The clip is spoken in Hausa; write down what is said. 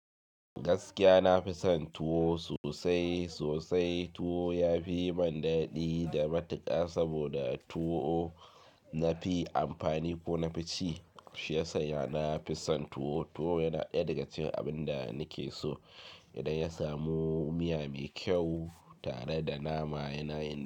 Gaskiya nafi son tuwo sosai sosai. Tuwo ya fi yi min daɗi da matuƙa saboda tuwo nafi amfani ko nafi ci. Shi ya san ya nafi son tuwo. Tuwo yana ɗaya daga cikin abin da nake so idan ya samu miya mai kyau tare da nama yana yin.